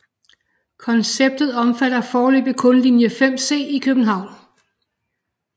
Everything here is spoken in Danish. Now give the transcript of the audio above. Konceptet omfatter foreløbig kun linje 5C i København